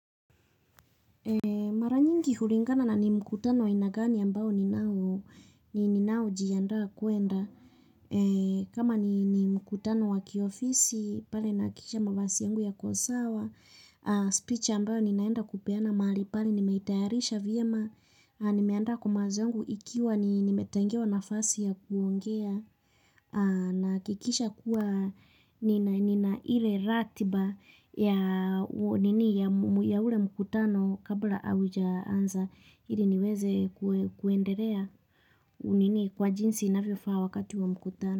Mara nyingi hulingana na ni mkutano wa aina gani ambao ninao ninaojiandaa kuenda. Kama ni mkutano wa kiofisi, pale nahakikisha mavazi yangu yako sawa. Speech ambayo ninaenda kupeana mahali pale nimeitayarisha vyema. Nimeanda kwa mawazo yangu ikiwa nimetengewa nafasi ya kuongea. Nahakikisha kuwa nina nina ile ratiba ya nini ya ule mkutano kabla haujaanza ili niweze kue kuendelea nini kwa jinsi inavyofaa wakati wa mkutano.